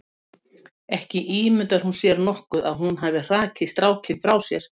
En ímyndar hún sér nokkuð að hún hafi hrakið strákinn frá sér?